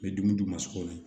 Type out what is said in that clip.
N bɛ dumuni d'u ma so kɔnɔ